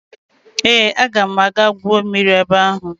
Ee, aga m aga gwuo mmiri ebe ahụ